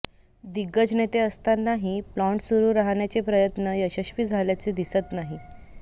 दिग्गज नेते असतानाही प्लान्ट सुरू राहण्याचे प्रयत्न यशस्वी झाल्याचे दिसत नाही